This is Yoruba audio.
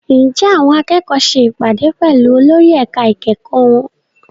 Ǹjẹ́ àwọn akẹ́kọ̀ọ́ ṣe ìpàdé pẹ̀lú olórí ẹ̀ka ìkẹ́kọ̀ọ́ wọn?